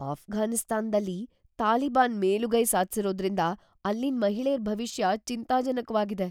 ಅಫ್ಘಾನಿಸ್ತಾನ್ದಲ್ಲಿ ತಾಲಿಬಾನ್ ಮೇಲುಗೈ ಸಾಧ್ಸಿರೋದ್ರಿಂದ‌ ಅಲ್ಲಿನ್ ಮಹಿಳೇರ್‌ ಭವಿಷ್ಯ ಚಿಂತಾಜನಕ್ವಾಗಿದೆ.